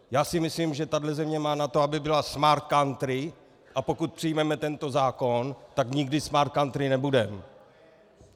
Já si myslím, že tahle země má na to, aby byla Smart Country, a pokud přijmeme tento zákon, tak nikdy Smart Country nebudeme!